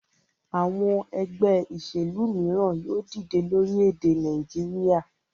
Àwọn ẹgbẹ́ ìṣèlú mìíràn yóò dìde lórílẹ̀-èdè Nàìjíríà.